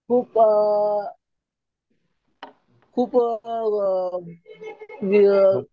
खूप अ अ खूप अ अ